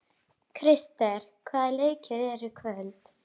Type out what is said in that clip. Krister, hvaða leikir eru í kvöld?